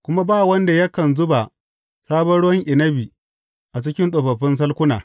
Kuma ba wanda yakan zuba sabon ruwan inabi a cikin tsofaffin salkuna.